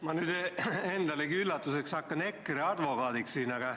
Ma nüüd endalegi üllatuseks hakkan EKRE advokaadiks.